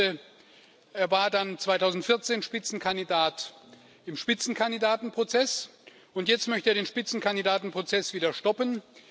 Er war dann 2014 Spitzenkandidat im Spitzenkandidatenprozess, und jetzt möchte er den Spitzenkandidatenprozess wieder stoppen.